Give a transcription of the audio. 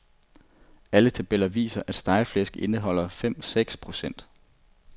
Alle tabeller viser, at stegeflæsk indeholder fem seks procent.